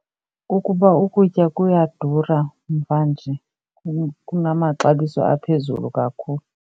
Kukuba ukutya buyadura mvanje kunamaxabiso aphezulu kakhulu.